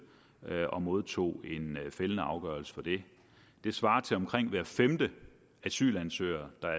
og modtog en fældende afgørelse for det det svarer til at omkring hver femte asylansøger er